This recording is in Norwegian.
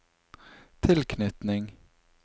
tilknytning